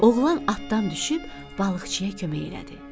Oğlan atdan düşüb balıqçıya kömək elədi.